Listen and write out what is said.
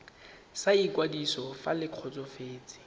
sa ikwadiso fa le kgotsofetse